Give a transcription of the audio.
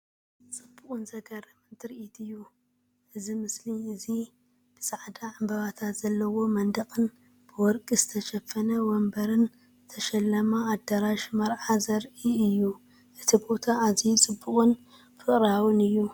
ጽቡቕን ዘገርምን ትርኢት እዩ! እዚ ምስሊ እዚ ብጻዕዳ ዕምባባታት ዘለዎ መንደቕን ብወርቂ ዝተሸፈነ መንበርን ዝተሸለመ ኣዳራሽ መርዓ ዘርኢ እዩ። እቲ ቦታ ኣዝዩ ጽቡቕን ፍቕራዊን እዩ።